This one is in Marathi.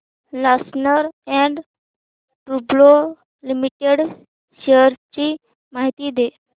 लार्सन अँड टुर्बो लिमिटेड शेअर्स ची माहिती दे